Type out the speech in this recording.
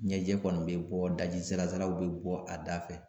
Ɲɛjɛ kɔni bɛ bɔ, daji salasala u bɛ bɔ a da fɛ.